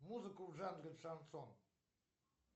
музыку в жанре шансон